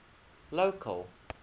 local